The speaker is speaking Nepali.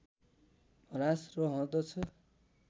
ह्रास रहँदछ